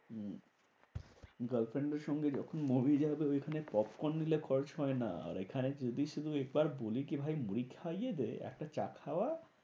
হম girlfriend এর সঙ্গে যখন movie যাবে ওইখানে popcorn নিলে খরচ হয় না। আর এখানে যদি শুধু একবার বলি কি ভাই? মুড়ি খাইয়ে দে, একটা চা খাওয়া,